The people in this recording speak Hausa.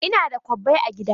Ina da kwabbai a gida.